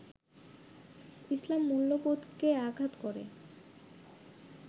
ইসলাম মূল্যবোধকে আঘাত করে